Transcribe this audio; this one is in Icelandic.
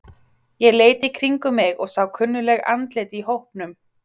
Ég leit í kringum mig og sá kunnugleg andlit í hópnum.